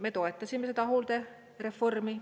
Me toetasime seda hooldereformi.